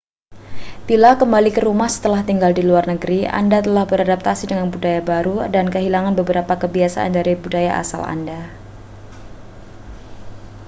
bila kembali ke rumah setelah tinggal di luar negeri anda telah beradaptasi dengan budaya baru dan kehilangan beberapa kebiasaan dari budaya asal anda